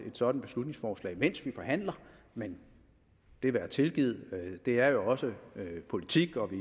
sådant beslutningsforslag mens vi forhandler men det være tilgivet det er jo også politik og vi